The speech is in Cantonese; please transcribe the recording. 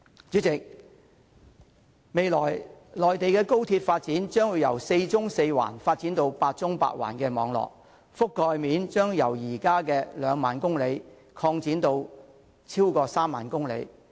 主席，未來內地高鐵發展將會由四縱四橫發展至八縱八橫的網絡，覆蓋面將由現時的2萬公里擴展至超過3萬公里。